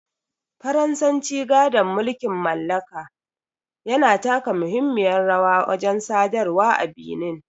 Faransanci, gadon mulkin mallaka, yana taka muhimmiyar rawa wajen sadarwa a Benin.